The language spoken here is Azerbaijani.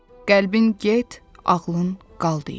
"Qəlbin get, ağlın qal," deyir.